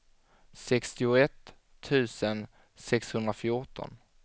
sextioett tusen sexhundrafjorton